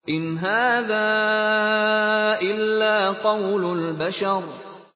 إِنْ هَٰذَا إِلَّا قَوْلُ الْبَشَرِ